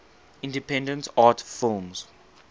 independent art films